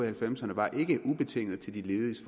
halvfemserne var ikke ubetinget til de lediges